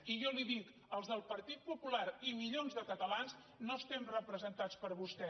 i jo li dic els del partit popular i milions de catalans no estem representats per vostè